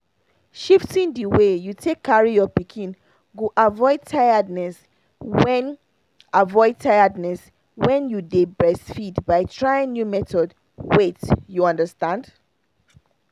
shifting the way you take carry your pikin go avoid tiredness when avoid tiredness when you dey breastfeed by trying new methods wait you understand.